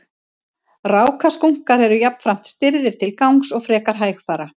Rákaskunkar eru jafnframt stirðir til gangs og frekar hægfara.